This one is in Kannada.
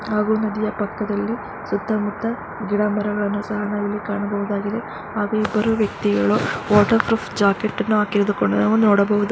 ಹಾಗು ನದಿಯ ಪಕ್ಕದಲ್ಲಿ ಸುತ್ತ ಮುತ್ತ ಗಿಡ ಮರಗಳನ್ನು ಸಹ ನಾವಿಲ್ಲಿ ಕಾಣಬಹುದಾಗಿದೆ. ಹಾಗೆ ಇಬ್ಬರು ವ್ಯಕ್ತಿಗಳು ನೋಡಬಹುದು.